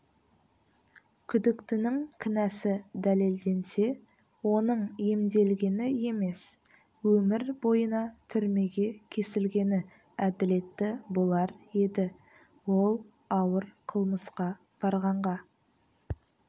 күдіктінің кінәсі дәлелденсе оның емделгені емес өмір бойына түрмеге кесілгені әділетті болар еді ол ауыр қылмысқа барғанға